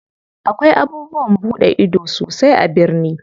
Akwai abubuwan buɗe ido sosai a birni.